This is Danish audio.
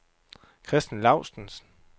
Christen Laustsen